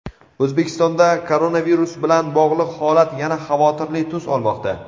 O‘zbekistonda koronavirus bilan bog‘liq holat yana xavotirli tus olmoqda.